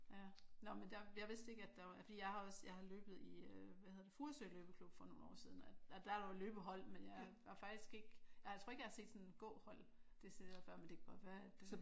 Ja nå men der jeg vidste ikke at der var fordi jeg har også jeg har løbet i hvad hedder det Furesø løbeklub for nogle år siden og der var der jo løbehold men jeg var faktisk ikke jeg tror ikke at jeg har set sådan et gåhold decideret før men det kan godt være at det